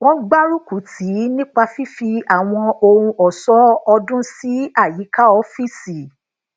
wọn gbaruku tii nipa fífi àwọn ohun ọṣọ ọdún si ayíká ọfíìsì